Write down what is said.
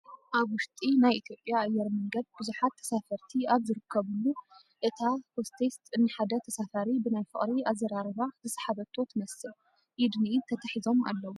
ኣብ ውሽጢ ናይ ኢ/ያ ኣየር መንገድ ብዙሓት ተሳፈርቲ ኣብ ዝርከቡሉ እታ ሆስቴስት ንሓደ ተሳፋሪ ብናይ ፍቕሪ ኣዛራርባ ዝሰሓበቶ ትመስል ኢድ ንኢድ ተተሓሒዞም ኣለው፡፡